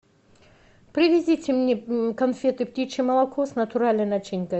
привезите мне конфеты птичье молоко с натуральной начинкой